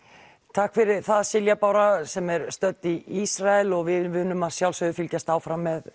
takk fyrir það Silja Bára sem er stödd í Ísrael og við munum að sjálfsögðu fylgjast áfram með